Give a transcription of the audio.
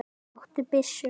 Áttu byssu?